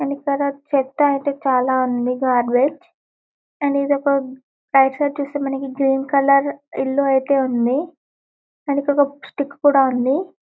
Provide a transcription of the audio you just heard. And ఇక్కడ చెత్త ఐతే చాలా ఉంది గర్భాజ్ . అండ్ ఇదొక రైట్ సైడ్ చుస్తే ఇల్లు ఐతే ఉంది. ఎనకాకి ఒక స్టిక్ కూడా ఉంది.